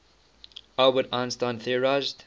albert einstein theorized